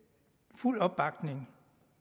fuld opbakning